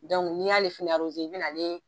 n'i y'ale fɛnɛ i bi na ale